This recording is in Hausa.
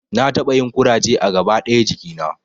Na taɓa yin ƙuraje a gaba ɗaya jikina